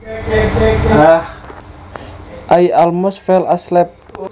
I almost fell asleep